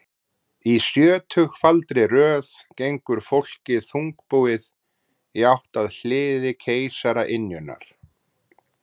Í sjötugfaldri röð gengur fólkið þungbúið í átt að hliði keisaraynjunnar.